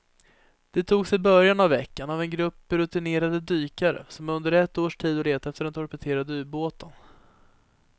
De togs i början av veckan av en grupp rutinerade dykare som under ett års tid har letat efter den torpederade ubåten.